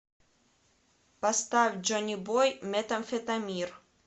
поставь джонибой метамфетамир